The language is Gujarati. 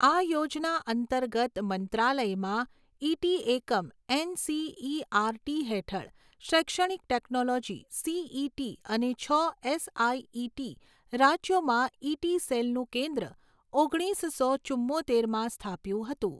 આ યોજના અંતર્ગત મંત્રાલયમાં ઇટી એકમ એનસીઇઆરટી હેઠળ શૈક્ષણિક ટેક્નોલોજી સીઈટી અને છ એસઆઈઇટી રાજ્યોમાં ઇટી સેલનું કેન્દ્ર ઓગણીસો ચુંમોતેરમાં સ્થાપ્યું હતું.